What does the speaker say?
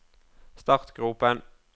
startgropen